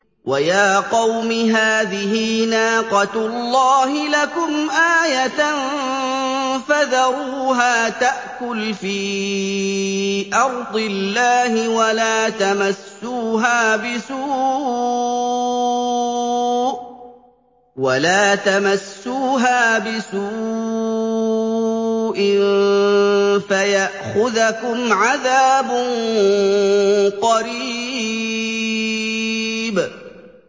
وَيَا قَوْمِ هَٰذِهِ نَاقَةُ اللَّهِ لَكُمْ آيَةً فَذَرُوهَا تَأْكُلْ فِي أَرْضِ اللَّهِ وَلَا تَمَسُّوهَا بِسُوءٍ فَيَأْخُذَكُمْ عَذَابٌ قَرِيبٌ